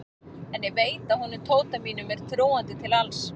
En ég veit að honum Tóta mínum er trúandi til alls.